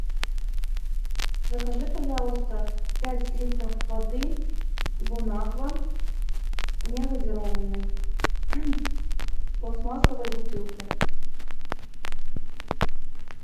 закажи пожалуйста пять литров воды бон аква не газированной в пластмассовой бутылке